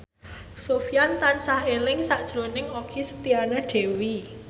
Sofyan tansah eling sakjroning Okky Setiana Dewi